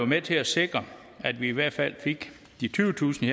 med til at sikre at vi i hvert fald fik de tyvetusind